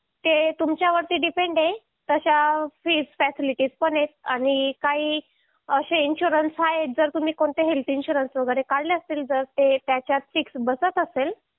ते तुमच्यावर अवलंबून आहे तशा सुविधा पण आहे आणि काय असे विमा आहेत जर तुम्ही कोणते आरोग्य विमा वगैरे काढले असतील तर ते त्यांच्या निराकरण बसत असेल